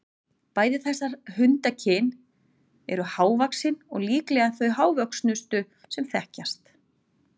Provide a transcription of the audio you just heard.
Bæði þessar hundakyn eru mjög hávaxin og líklega þau hávöxnustu sem þekkjast.